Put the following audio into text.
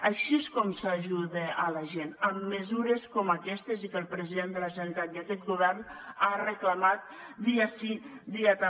així és com s’ajuda a la gent amb mesures com aquestes i que el president de la generalitat i aquest govern ha reclamat dia sí dia també